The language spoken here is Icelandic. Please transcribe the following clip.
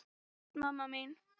Bless mamma mín.